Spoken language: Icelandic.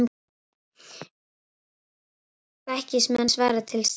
Vill að ofstækismenn svari til saka